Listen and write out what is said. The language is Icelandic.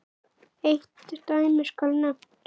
Eitt dæmi skal nefnt.